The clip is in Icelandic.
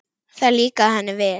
Það líkaði henni vel.